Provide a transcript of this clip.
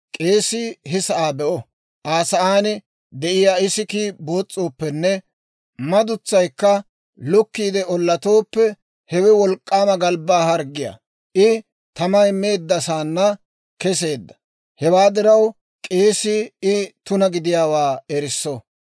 k'eesii he sa'aa be'o; Aa sa'aan de'iyaa isikkii boos's'ooppenne madutsaykka lukkiide ollatooppe, hewe wolk'k'aama galbbaa harggiyaa. I tamay meeddasaana keseedda; hewaa diraw k'eesii I tuna gidiyaawaa erisso.